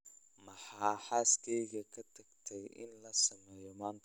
Maxaa xaaskaygu ka tagtay in la sameeyo maanta?